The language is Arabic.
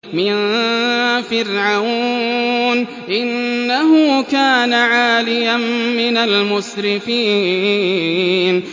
مِن فِرْعَوْنَ ۚ إِنَّهُ كَانَ عَالِيًا مِّنَ الْمُسْرِفِينَ